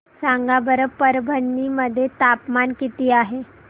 सांगा बरं परभणी मध्ये तापमान किती आहे